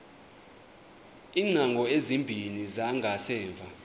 iingcango ezimbini zangasemva